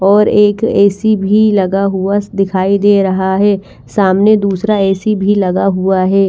और एक A C भी लगा हुआ दिखाई दे रहा है सामने दूसरा ए सी भी लगा हुआ है।